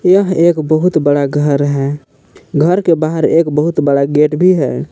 यह एक बहुत बड़ा घर है घर के बाहर बहुत बड़ा गेट भी हैं।